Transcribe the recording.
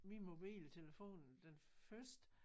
Min mobiltelefon den første